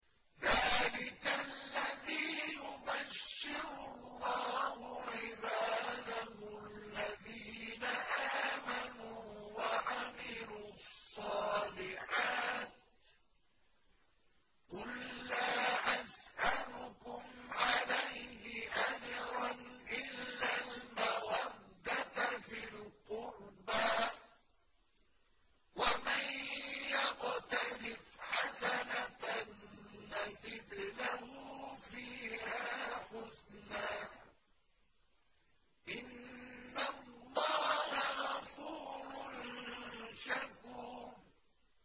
ذَٰلِكَ الَّذِي يُبَشِّرُ اللَّهُ عِبَادَهُ الَّذِينَ آمَنُوا وَعَمِلُوا الصَّالِحَاتِ ۗ قُل لَّا أَسْأَلُكُمْ عَلَيْهِ أَجْرًا إِلَّا الْمَوَدَّةَ فِي الْقُرْبَىٰ ۗ وَمَن يَقْتَرِفْ حَسَنَةً نَّزِدْ لَهُ فِيهَا حُسْنًا ۚ إِنَّ اللَّهَ غَفُورٌ شَكُورٌ